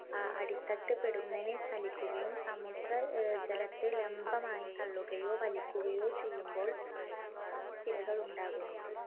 ആഹ് അടിത്തട്ട് പൊടുന്നനെ ചലിയ്ക്കുകയും, സമുദ്രജലത്തെ ലംബമായി തള്ളുകയോ വലിയ്ക്കുകയോ ചെയ്യുമ്പോൾ tsunami ത്തിരകൾ ഉണ്ടാകുന്നു.